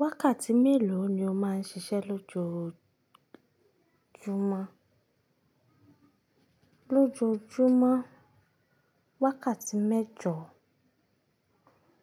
Wákàtí mélòó ni o máa ń ṣiṣẹ́ lójoójúmọ́? Lójojúmọ́, wákàtí mẹ́jọ